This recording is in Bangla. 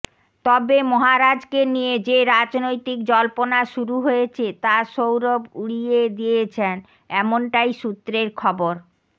তবে মহারাজকে নিয়ে যে রাজনৈতিক জল্পনা শুরু হয়েছে তা সৌরভ উড়িয়ে দিয়েছেন এমনটাই সূত্রের খবর